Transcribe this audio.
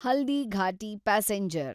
Haldighati passenger